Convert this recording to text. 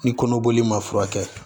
Ni kɔnɔboli ma furakɛ